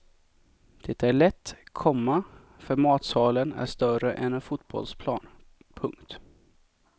Det är lätt, komma för matsalen är större än en fotbollsplan. punkt